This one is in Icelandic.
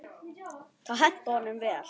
Það hentaði honum vel.